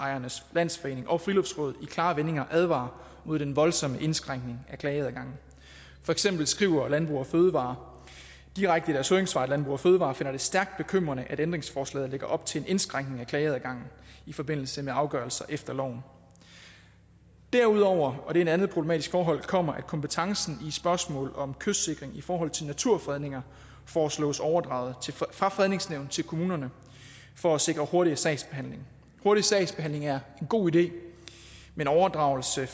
landsforening og friluftsrådet i klare vendinger advarer imod den voldsomme indskrænkning af klageadgangen for eksempel skriver landbrug fødevarer direkte i deres høringssvar landbrug fødevarer finder det stærkt bekymrende at ændringsforslaget lægger op til en indskrænkning af klageadgangen i forbindelse med afgørelser efter loven derudover og det er et andet problematisk forhold kommer at kompetencen i spørgsmål om kystsikring i forhold til naturfredninger foreslås overdraget fra fredningsnævnet til kommunerne for at sikre hurtigere sagsbehandling hurtig sagsbehandling er en god idé men overdragelse